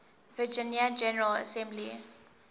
virginia general assembly